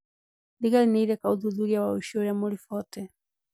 Thigari nĩireka ũthuthuria wa ũici ũrĩa mũribote